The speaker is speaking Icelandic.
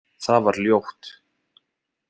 Það var ljótt.